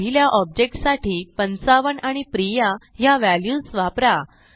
पहिल्या ऑब्जेक्ट साठी 55 आणि प्रिया ह्या व्हॅल्यूज वापरा